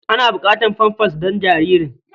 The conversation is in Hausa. Ana buƙatar famfas don jaririn.